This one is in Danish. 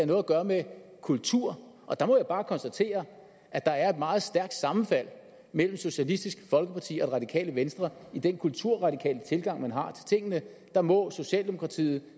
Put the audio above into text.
noget at gøre med kultur og der må jeg bare konstatere at der er meget stærkt sammenfald mellem socialistisk folkeparti og det radikale venstre i den kulturradikale tilgang man har til tingene der må socialdemokratiet